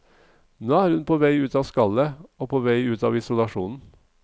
Nå er hun på vei ut av skallet, på vei ut av isolasjonen.